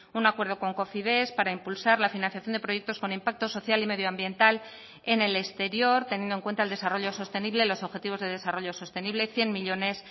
un acuerdo con cofides para impulsar la financiación de proyectos con impacto social y medioambiental en el exterior teniendo en cuenta el desarrollo sostenible los objetivos de desarrollo sostenible cien millónes